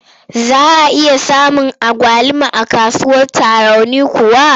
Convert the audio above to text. Za a iya samun agwaluma a kasuwar Tarauni kuwa?